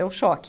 É o choque.